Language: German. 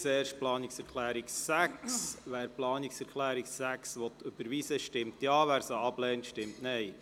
Wer die Planungserklärung 6 annehmen will, stimmt Ja, wer diese ablehnt, stimmt Nein.